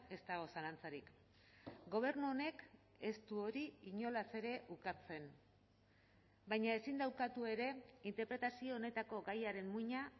ez dago zalantzarik gobernu honek ez du hori inolaz ere ukatzen baina ezin da ukatu ere interpretazio honetako gaiaren muina